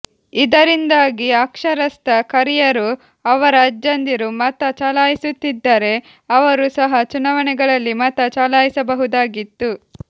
ಇದರಿಂದಾಗಿ ಅಕ್ಷರಸ್ತ ಕರಿಯರು ಅವರ ಅಜ್ಜಂದಿರು ಮತ ಚಲಾಯಿಸುತ್ತಿದ್ದರೆ ಅವರು ಸಹ ಚುನಾವಣೆಗಳಲ್ಲಿ ಮತ ಚಲಾಯಿಸಬಹುದಾಗಿತ್ತು